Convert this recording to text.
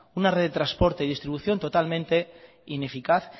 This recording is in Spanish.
una red de trasporte y distribución totalmente ineficaz